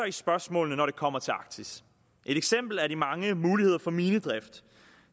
i spørgsmålene når det kommer til arktis et eksempel er de mange muligheder for minedrift